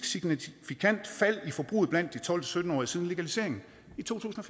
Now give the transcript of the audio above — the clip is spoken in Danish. signifikant fald i forbruget blandt de tolv til sytten årige siden legaliseringen i to tusind og